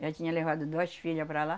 Já tinha levado duas filha para lá.